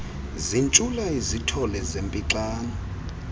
zintshula izithole zempixano